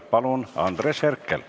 Palun, Andres Herkel!